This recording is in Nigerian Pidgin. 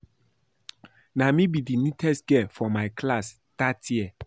Na me be the neatest girl for my class dat year